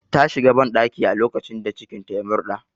Ta shiga banɗaki a lokacin da cikin ta ya murɗa